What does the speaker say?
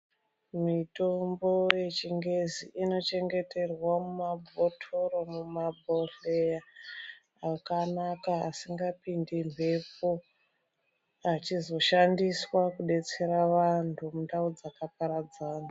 Mwitombo yechiNgezi inochengeterwa mumabhotoro mumabhodhleya akanaka, asingapindi mbepo achizoshandiswa kudetsera vantu mundau dzakaparadzana.